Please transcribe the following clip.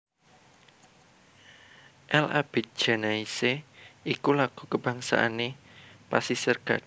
L Abidjanaise iku lagu kabangsané Pasisir Gadhing